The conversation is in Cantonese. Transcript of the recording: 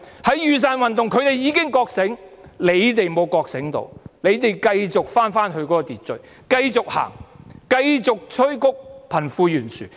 在雨傘運動中，他們已經覺醒，只是政府沒有覺醒，繼續返回秩序，繼續走，繼續催谷貧富懸殊。